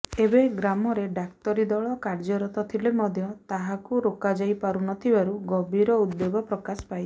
ଏବେ ଗ୍ରାମରେ ଡାକ୍ତରୀଦଳ କାଯ୍ୟରତ ଥିଲେ ମଧ୍ୟ ତାହାକୁ ରୋକାଯାଇପାରୁନଥିବାରୁ ଗଭିର ଉଦବେଗ ପ୍ରକାଶ ପାଇଛି